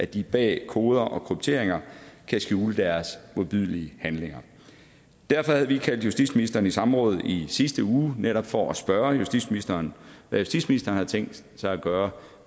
de bag koder og krypteringer kan skjule deres modbydelige handlinger derfor havde vi kaldt justitsministeren i samråd i sidste uge det netop for at spørge justitsministeren hvad justitsministeren havde tænkt sig at gøre